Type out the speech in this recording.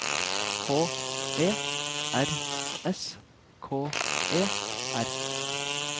H E R S K E R